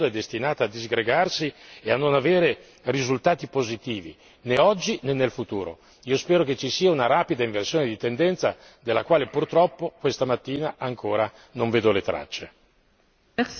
senza coesione questa parte del mondo è destinata a disgregarsi e a non avere risultati positivi né oggi né in futuro. Io spero che ci sia una rapida inversione di tendenza della quale purtroppo questa mattina ancora non vedo le tracce.